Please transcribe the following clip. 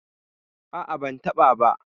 A'a, ban taɓa ba.